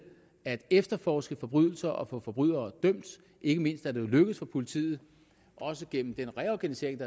at efterforske forbrydelser og få forbrydere dømt ikke mindst er det jo lykkedes for politiet også gennem den reorganisering af